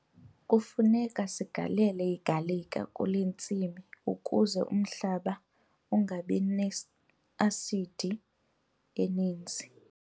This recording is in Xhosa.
Kufuneka sigalele igalika kule ntsimi ukuze umhlaba ungabi ne-asidi eninzi.